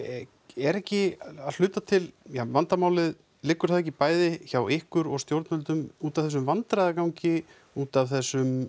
er ekki að hluta til vandamálið liggur það ekki bæði hjá ykkur og stjórnvöldum út af þessum vandræðagangi út af þessum